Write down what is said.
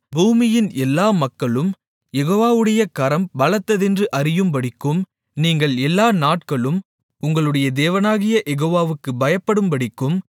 பூமியின் எல்லா மக்களும் யெகோவாவுடைய கரம் பலத்ததென்று அறியும்படிக்கும் நீங்கள் எல்லா நாட்களும் உங்களுடைய தேவனாகிய யெகோவாவுக்குப் பயப்படும்படிக்கும்